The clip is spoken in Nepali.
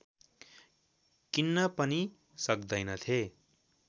किन्न पनि सक्दैनथे